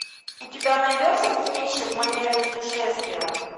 у тебя найдется кинище в манере путешествия